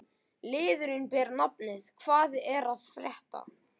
Liðurinn ber nafnið: Hvað er að frétta?